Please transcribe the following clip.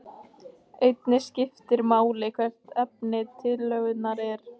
Einnig skiptir máli hvert efni tillögunnar er.